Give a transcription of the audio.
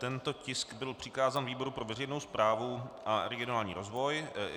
Tento tisk byl přikázán výboru pro veřejnou správu a regionální rozvoj.